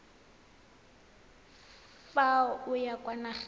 fa o ya kwa nageng